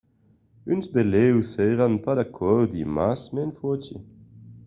d'unes benlèu seràn pas d'acòrdi mas me'n foti